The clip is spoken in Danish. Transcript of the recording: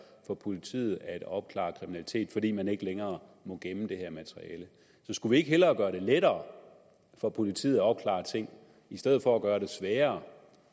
for politiet at opklare kriminalitet fordi man ikke længere må gemme det her materiale skulle vi ikke hellere gøre det lettere for politiet at opklare ting i stedet for at gøre det sværere